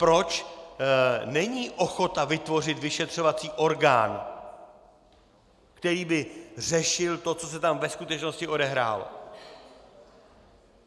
Proč není ochota vytvořit vyšetřovací orgán, který by řešil to, co se tam ve skutečnosti odehrálo?